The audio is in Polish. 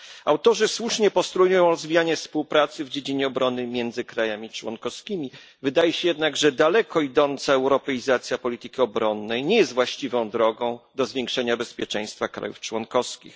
Autorzy słusznie postulują rozwijanie współpracy w dziedzinie obrony między państwami członkowskimi, wydaje się jednak, że daleko idąca europeizacja polityki obronnej nie jest właściwą drogą do zwiększenia bezpieczeństwa państw członkowskich.